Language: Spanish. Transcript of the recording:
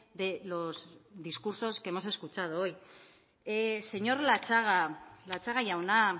de los discursos que hemos escuchado hoy señor latxaga latxaga jauna